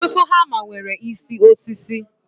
Ọtụtụ hama nwere isi osisi